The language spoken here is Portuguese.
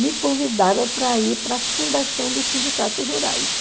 me convidava para ir para a fundação dos sindicatos rurais.